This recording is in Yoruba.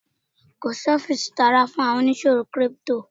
kò sí ọfiisi ti ara fún àwọn oníṣòwò crypto.